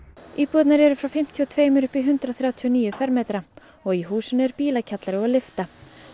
íbúðirnar eru frá fimmtíu og tveimur upp í hundrað þrjátíu og níu fermetra og í húsinu er bílakjallari og lyfta